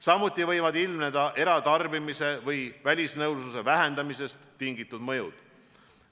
Samuti võivad ilmneda eratarbimise ja välisnõudluse vähenemisest tingitud mõjud.